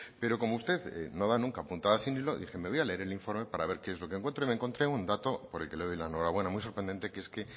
pero como usted no da nunca puntadas sin hilo dije me voy a leer el informe para ver qué es lo que encuentro y me encontré un dato por el que le doy la enhorabuena muy sorprendente que es que